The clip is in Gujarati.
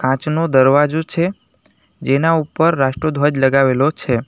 કાચનો દરવાજો છે જેના ઉપર રાષ્ટ્રધ્વજ લગાવેલો છે.